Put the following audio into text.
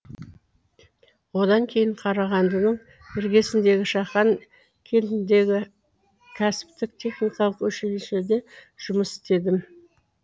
одан кейін қарағандының іргесіндегі шахан кентіндегі кәсіптік техникалық училищеде жұмыс істедім